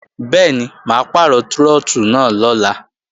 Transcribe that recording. Bẹ́ẹ̀ni, mà á pàrọ̀ trọ́tù náà lọ́la